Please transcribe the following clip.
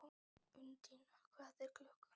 Undína, hvað er klukkan?